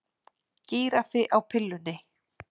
Gíraffi á pillunni